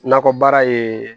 Nakɔ baara ye